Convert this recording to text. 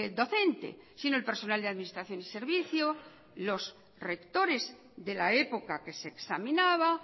docente sino el personal de administración y servicio los rectores de la época que se examinaba